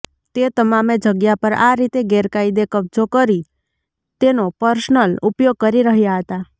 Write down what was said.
તે તમામે જગ્યા પર આ રીતે ગેરકાયદે કબજો કરી તેનો પર્સનલ ઉપયોગ કરી રહ્યા હતા